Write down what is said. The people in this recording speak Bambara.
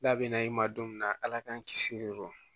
N'a bɛna i ma don min na ala k'an kisi o ma